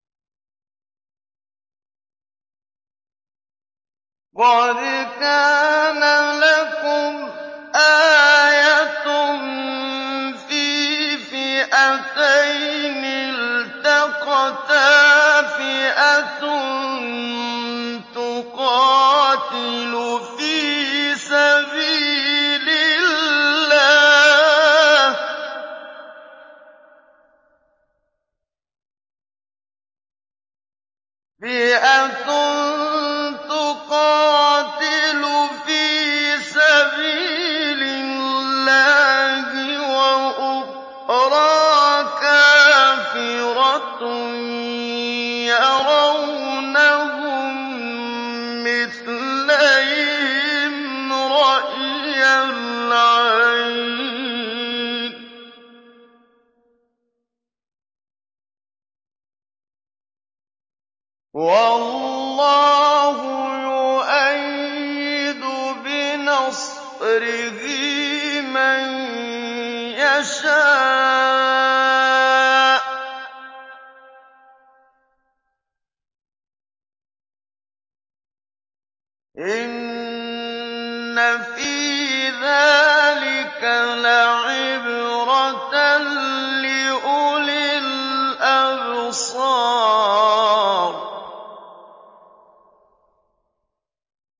قَدْ كَانَ لَكُمْ آيَةٌ فِي فِئَتَيْنِ الْتَقَتَا ۖ فِئَةٌ تُقَاتِلُ فِي سَبِيلِ اللَّهِ وَأُخْرَىٰ كَافِرَةٌ يَرَوْنَهُم مِّثْلَيْهِمْ رَأْيَ الْعَيْنِ ۚ وَاللَّهُ يُؤَيِّدُ بِنَصْرِهِ مَن يَشَاءُ ۗ إِنَّ فِي ذَٰلِكَ لَعِبْرَةً لِّأُولِي الْأَبْصَارِ